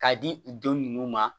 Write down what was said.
K'a di u don ninnu ma